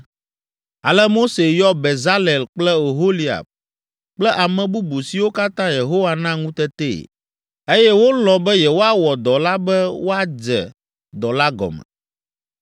Ale Mose yɔ Bezalel kple Oholiab kple ame bubu siwo katã Yehowa na ŋutetee, eye wolɔ̃ be yewoawɔ dɔ la be woadze dɔ la gɔme.